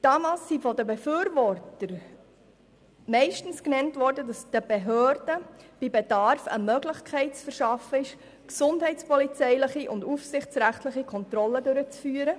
Damals wurde von den meisten Befürwortern argumentiert, den Behörden sei bei Bedarf eine Möglichkeit zu geben, gesundheitspolizeiliche und aufsichtsrechtliche Kontrollen durchzuführen.